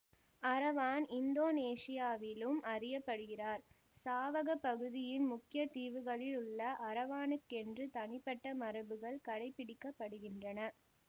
அரவான் இந்தோனேசியாவிலும் அறிய படுகிறார் சாவகப் பகுதியின் முக்கிய தீவுகளில் உள்ள அரவானுக்கென்று தனிப்பட்ட மரபுகள் கடைப்பிடிக்கப்படுகின்றன